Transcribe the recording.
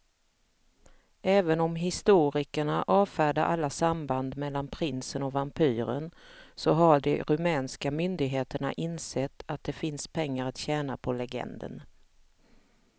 Även om historikerna avfärdar alla samband mellan prinsen och vampyren så har de rumänska myndigheterna insett att det finns pengar att tjäna på legenden.